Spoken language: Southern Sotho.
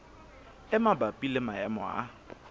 e mabapi le maemo a